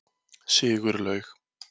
Sigurlaug